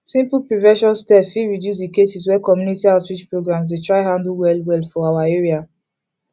simple prevention steps fit reduce the cases wey community outreach programs dey try handle well well for our area